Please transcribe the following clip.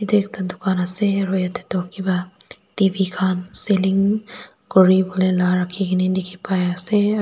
ekta dukan ase aro yatae toh kipa t v selling kuriwolae la rakhinaase dikhipaiase aro.